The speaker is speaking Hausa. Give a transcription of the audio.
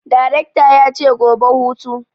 Darekta yace gobe hutu!